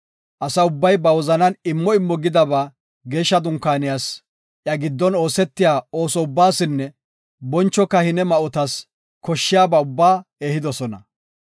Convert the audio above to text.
Asa ubbay ba wozanan immo immo gidaba Geeshsha Dunkaaniyas, iya giddon oosetiya ooso ubbaasinne boncho kahine ma7otas koshshiyaba ubbaa ehidosona.